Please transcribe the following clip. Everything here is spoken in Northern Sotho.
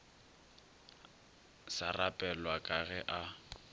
sa rapelwa ka ge a